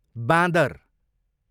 बाँदर